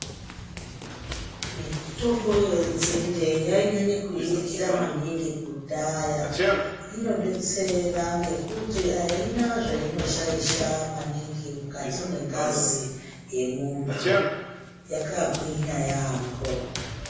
Mitombo yenzinde yainyanye kuiringira maningi kudhaya inodetsera ngekuti aina zvainoshaidha maningi mukati mwengazi yemuntu yakagwinya yaampo.